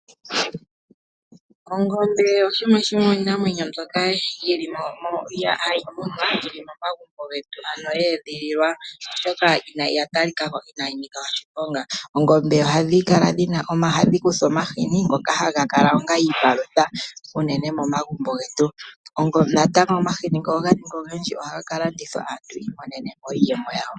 Ongombe oshimwe shomiinamwenyo mbyoka hayi munwa yi li momagumbo getu ano ye edhililwa, oshoka oya talika ko inaayi nika oshiponga. Oongombe ohadhi kuthwa omahini ngoka haga kala onga iipalutha unene momagumbo getu, natango ngele omahini oga ningi ogendji ohaga ka landithwa aantu yi imonene mo iiyemo yawo.